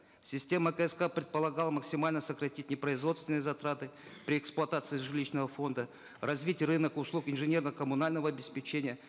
система кск предполагала максимально сократить непроизводственные затраты при эксплуатации жилищного фонда развить рынок услуг инженерно коммунального обеспечения